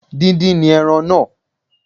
Díndín ni ẹran náà